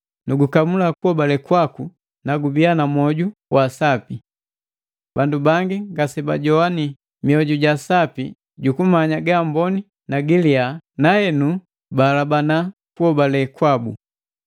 nugukamula kuhobale kwaku na mwoju wa sapi. Bandu bangi ngasebajowani mioju ja sapi jukumanya ga amboni ni giliya henu nukuhabana hobale jabu.